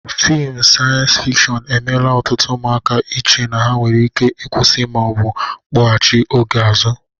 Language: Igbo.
Fịmụ saịyens fikshọn emela ọtụtụ ụmụaka iche na e nwere ike ịkwụsị ma ọ bụ kpọgachị oge azụ.